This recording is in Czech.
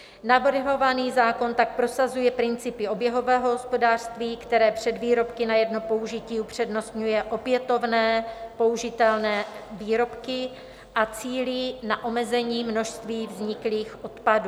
Navrhovaný zákon tak prosazuje principy oběhového hospodářství, které před výrobky na jedno použití upřednostňuje opětovné použitelné výrobky a cílí na omezení množství vzniklých odpadů.